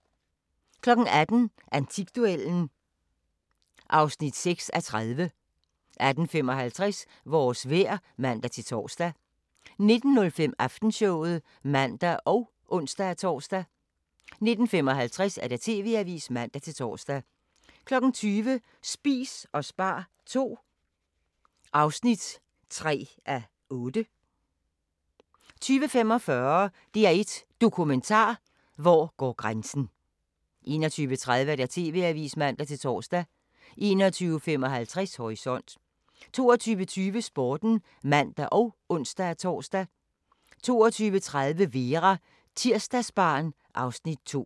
18:00: Antikduellen (6:30) 18:55: Vores vejr (man-tor) 19:05: Aftenshowet (man og ons-tor) 19:55: TV-avisen (man-tor) 20:00: Spis og spar II (3:8) 20:45: DR1 Dokumentar: Hvor går grænsen 21:30: TV-avisen (man-tor) 21:55: Horisont 22:20: Sporten (man og ons-tor) 22:30: Vera: Tirsdagsbarn (Afs. 2)